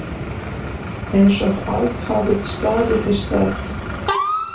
Einsog allt hafi staðið í stað.